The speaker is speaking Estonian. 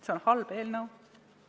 See on halb eelnõu.